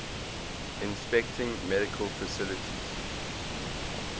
inspecting medical facilities